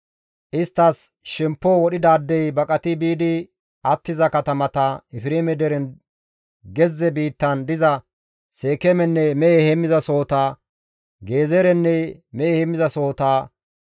Isttas shemppo wodhidaadey baqati biidi attiza katamata, Efreeme deren gezze biittan diza Seekeemenne mehe heemmizasohota, Gezeerenne mehe heemmizasohota,